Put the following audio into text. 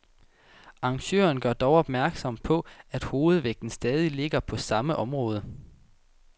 Arrangøren gør dog opmærksom på, at hovedvægten stadig ligger på samme område.